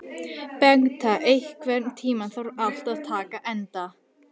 Bengta, einhvern tímann þarf allt að taka enda.